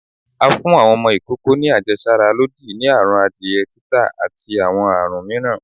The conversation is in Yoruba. à fún awọn ọmọ ìkókó ni àjẹsára lòdì sí àrùn adiẹ, títà, ati awọn àrún mìíràn